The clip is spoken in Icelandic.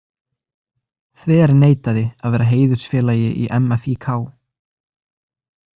Þverneitaði að vera heiðursfélagi í MFÍK.